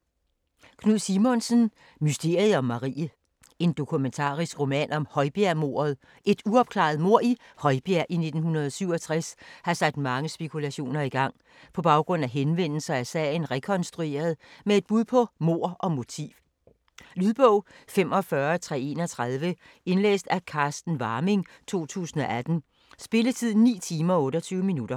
Simonsen, Knud: Mysteriet om Marie En dokumentarisk roman om højbjergmordet. Et uopklaret mord i Højbjerg i 1967 har sat mange spekulationer i gang. På baggrund af henvendelser er sagen rekonstrueret med et bud på mord og motiv. Lydbog 45331 Indlæst af Carsten Warming, 2018. Spilletid: 9 timer, 28 minutter.